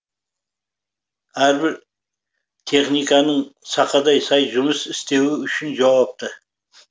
әрбір техниканың сақадай сай жұмыс істеуі үшін жауапты